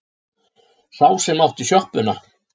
Sá sem átti sjoppuna.